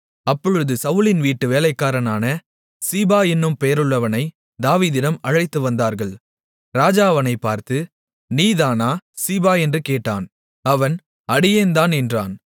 அப்பொழுது சவுலின் வீட்டு வேலைக்காரனான சீபா என்னும் பெயருள்ளவனைத் தாவீதிடம் அழைத்து வந்தார்கள் ராஜா அவனைப் பார்த்து நீதானா சீபா என்று கேட்டான் அவன் அடியேன்தான் என்றான்